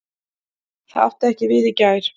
Það átti ekki við í gær.